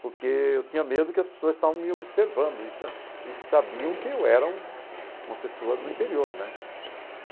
Porque eu tinha medo que as pessoas estavam me observando e sa e sabiam que eu era um uma pessoa do interior, né?